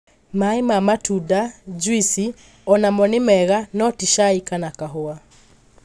Maĩ ma matũnda( juici) onamo nĩ mega no ti cai kana kahũa